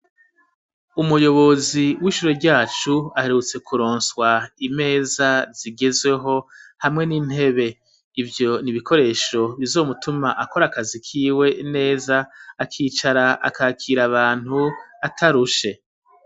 Umuyobozi w'ishuri ryacu aherutse kuronswa imeza zigezweho hamwe n'intebe, ivyo nibikoresho bizomutuma akora akazi kiwe neza, akicara akakira abantu atarushe.